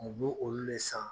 U b'o olu de san